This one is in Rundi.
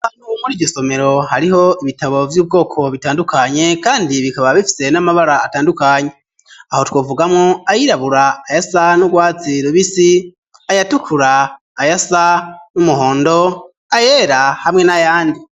Muryo somero hariho ibitabo vy'ubwoko butandukanye kandi bikaba bifise n'amabara atandukanye aho twavugamwo ayirabura ayasa n'urwatsi rubisi ayatukura ayasa n'umuhondo ayera hamwe n'ayandi